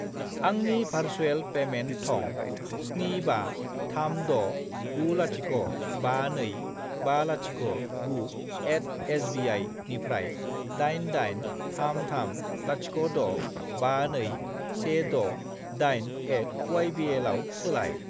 आंनि भारसुएल पेमेन्ट थं 75369052509@sbi निफ्राय 88330652168@ybl आव सोलाय।